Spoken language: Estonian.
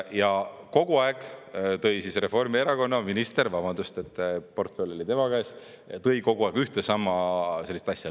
Ja kogu aeg tõi Reformierakonna minister, vabandust, portfell oli tema käes, ühte ja sama asja.